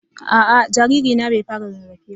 Aa jariri na bai fara rarafe ba.